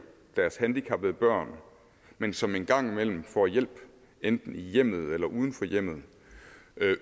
deres handicappede børn men som en gang imellem får hjælp enten i hjemmet eller uden for hjemmet